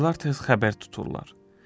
Bacılar tez xəbər tuturlar.